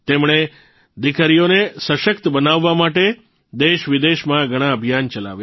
તેમણે દીકરીઓને સશક્ત બનાવવા માટે દેશવિદેશમાં ઘણા અભિયાન ચલાવ્યાં